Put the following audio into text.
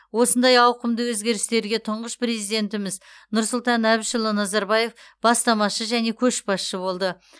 осындай ауқымды өзгерістерге тұңғыш президентіміз нұрсұлтан әбішұлы назарбаев бастамашы және көшбасшы болды